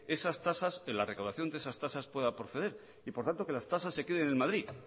la recaudación de esas tasas pueda proceder y por tanto que las tasas se queden en madrid